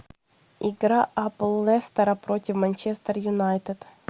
игра апл лестера против манчестер юнайтед